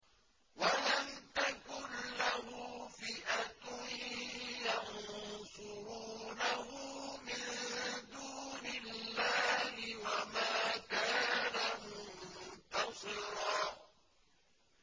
وَلَمْ تَكُن لَّهُ فِئَةٌ يَنصُرُونَهُ مِن دُونِ اللَّهِ وَمَا كَانَ مُنتَصِرًا